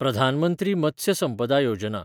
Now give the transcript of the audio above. Pradhan Mantri Matsya Sampada Yojana